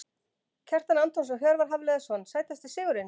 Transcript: Kjartan Antons og Hjörvar Hafliðason Sætasti sigurinn?